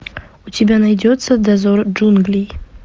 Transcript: у тебя найдется дозор джунглей